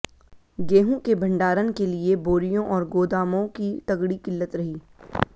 गेहूं के भंडारण के लिए बोरियों और गोदामों की तगड़ी किल्लत रही